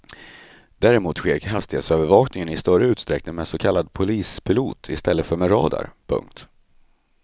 Däremot sker hastighetsövervakningen i större utsträckning med så kallad polispilot i stället för med radar. punkt